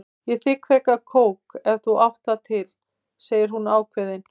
Ég þigg frekar kók ef þú átt það til, segir hún ákveðin.